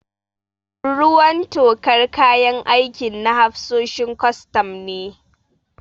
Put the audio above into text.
Ruwan tokar kayan aikin na hafsoshin kwastam ne.